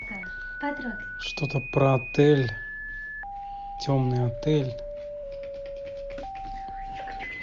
что то про отель темный отель